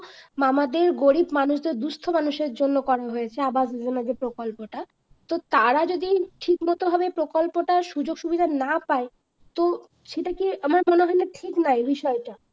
আমাদের গরিব মানুষের জন্য দুঃস্থ মানুষের জন্য করা হয়েছে অবস্ যোজনা যে প্রকল্পটা তো তারা যদি ঠিকমতো ভাবে প্রকল্পটা সুযোগ সুবিধা না পায় তো সেটাকে আমার মনে হয় না ঠিক না এই বিষয় টা